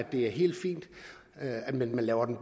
det er helt fint at man laver dem